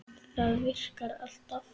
Það virkar alltaf.